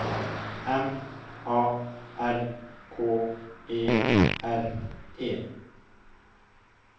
M A R K E R E